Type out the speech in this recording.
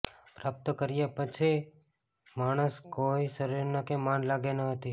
પ્રાપ્ત કર્યા પછી માણસ કોઇ શરીરના કે મન લાગે ન હતી